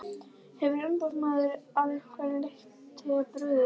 Hefur umboðsmaður að einhverju leyti brugðist?